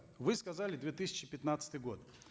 вы сказали две тысячи пятнадцатый год